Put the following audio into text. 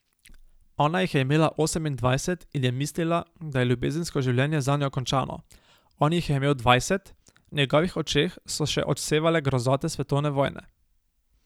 Ona jih je imela osemindvajset in je mislila, da je ljubezensko življenje zanjo končano, on jih je imel dvajset, v njegovih očeh so še odsevale grozote svetovne vojne.